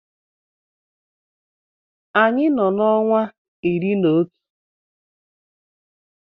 Anyị nọ n’ọnwa iri na otu